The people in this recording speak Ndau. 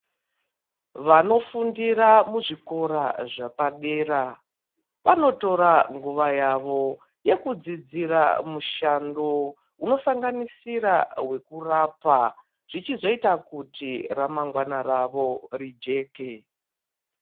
Vanofundira muzvikora zvepadera vanotora nguwa yawo yekudzidzira mishando hunosanganasira hwekurapa zvichizoitawo kuti ramangwana rawo Rijeke.